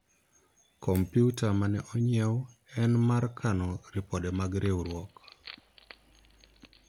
komputa mane onyiewu en mar kano ripode mag riwruok